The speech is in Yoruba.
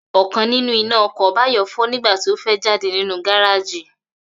Ò̩kan nínú iná o̩kò̩ Báyò̩ fó̩ nígbà tí ó fé̩ jáde nínú gáráàjì